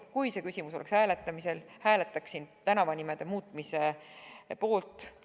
Kui see küsimus oleks hääletamisel, hääletaksin tänavanimede muutmise poolt.